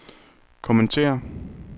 kommentere